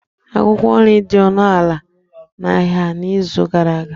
Akwukwo nri dị ọnụ ala n'ahịa n'izu gara aga.